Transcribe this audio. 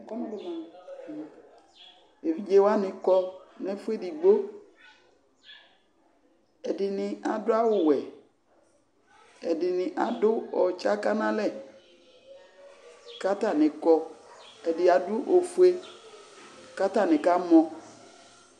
Evidze wanɩ kɔ nʋ ɛfʋ edigbo Ɛdɩnɩ adʋ awʋwɛ, ɛdɩnɩ adʋ ɔtsaka nʋ alɛ kʋ atanɩ kɔ Ɛdɩ adʋ ofue kʋ atanɩ kamɔ